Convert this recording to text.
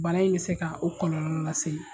Bana in bɛ se ka o kɔlɔlɔ lase ye.